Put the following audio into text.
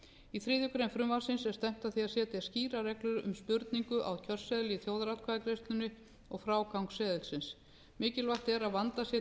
í þriðju greinar frumvarpsins er stefnt að því að setja skýrar reglur um spurningu á kjörseðil í þjóðaratkvæðagreiðslunni um frágang seðilsins mikilvægt er að vandað sé